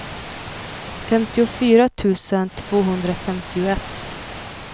femtiofyra tusen tvåhundrafemtioett